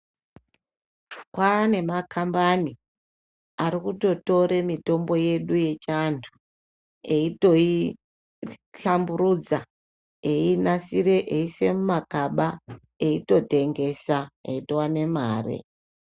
Kwane makambani arikutotore mitombo yedu yechiantu eyitoi hlamburudza eyitoi ise mumakaba eitotengesa eitowane mare.